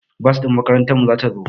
Bas ɗin makarantar mu ta zo